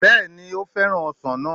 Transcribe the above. Bẹ́ẹ̀ni ó fẹ́ràn ọsàn náà